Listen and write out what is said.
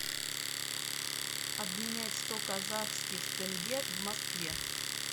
обменять сто казахских тенге в москве